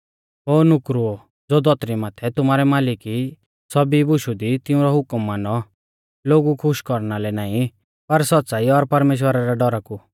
ओ नुकरौ ज़ो धौतरी माथै तुमारै मालिक ई सौभी बुशु दी तिऊंरौ हुकम मानौ लोगु खुश कौरना लै नाईं पर सौच़्च़ाई और परमेश्‍वरा रै डौरा कु